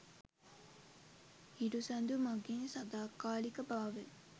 හිරු සඳු මඟින් සදාකාලික භාවය